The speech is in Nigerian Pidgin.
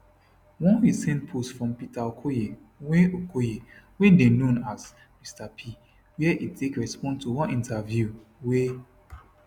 one recent post from peter okoye wey okoye wey dey known as mr p wia e take respond to one interview wey